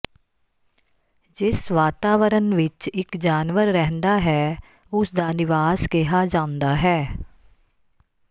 ਜਿਸ ਵਾਤਾਵਰਣ ਵਿਚ ਇਕ ਜਾਨਵਰ ਰਹਿੰਦਾ ਹੈ ਉਸ ਦਾ ਨਿਵਾਸ ਕਿਹਾ ਜਾਂਦਾ ਹੈ